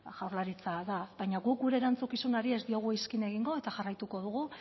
jaurlaritza da baina guk gure erantzukizunari ez diogu iskin egingo eta jarraituko dugu